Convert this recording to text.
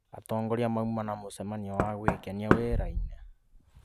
Atongoria mauma na mũcemanio wa gwĩkenia wĩra-inĩ